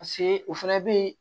Paseke o fana bɛ